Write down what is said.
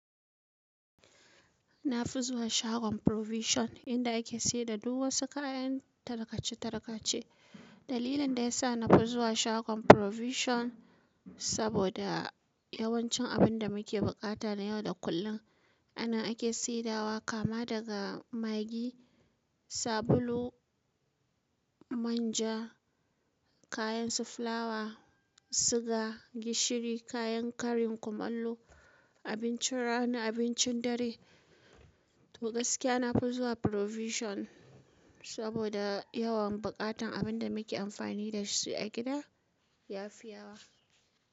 Na fi zuwa shagon provision inda ake sayar da duk wasu kayan tarkace tarkace. Dalilin da ya sa na fi zuwa shagon provision saboda yawancin abin da muke buƙata na yau da kullum anan ake saidawa kama daga maggi, sabulu, manja, kayan su fulawa, suga, gishiri, kayan karin kumallo, abincin rana, abincin dare. To gaskiya na fi zuwa provision saboda yawan buƙatan abin da muke amfani da shi a gida ya fi yawa.